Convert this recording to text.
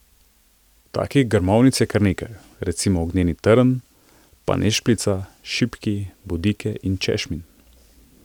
Takih grmovnic je kar nekaj, recimo ognjeni trn, panešpljica, šipki, bodike in češmin.